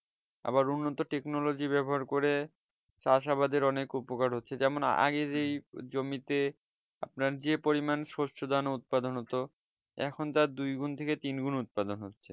আবার উন্নত technology ব্যবহার করে চাষাবাদের অনেক উপকার হচ্ছে যেমন আগে যেই জমিতে আপনার যে পরিমান শস্য দান উৎপাদন হতো এখন তার দুই গুন্ থেকে তিন গুন্ উৎপাদন হচ্ছে